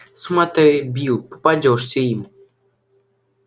смотри билл попадёшься им